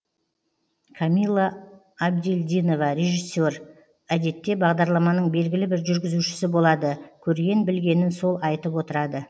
камилла абдельдинова режиссер әдетте бағдарламаның белгілі бір жүргізушісі болады көрген білгенін сол айтып отырады